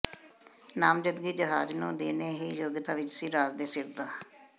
ਨਾਮਜ਼ਦਗੀ ਜਹਾਜ਼ ਨੂੰ ਦੇਣੇ ਹੀ ਯੋਗਤਾ ਵਿਚ ਸੀ ਰਾਜ ਦੇ ਸਿਰ ਦਾ